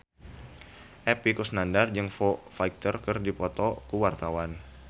Epy Kusnandar jeung Foo Fighter keur dipoto ku wartawan